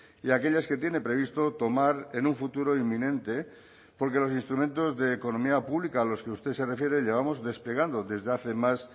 y aquellas que tiene previsto tomar en un futuro inminente porque los instrumentos de economía pública a los que usted se refiere llevamos desplegando desde hace más